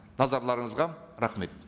назарларыңызға рахмет